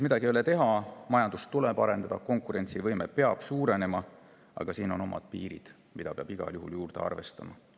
Midagi ei ole teha, majandust tuleb arendada, konkurentsivõime peab suurenema, aga siin on omad piirid, mida peab igal juhul arvestama.